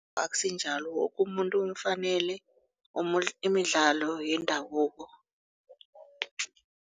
Akusinjalo woke umuntu umfanele imidlalo yendabuko.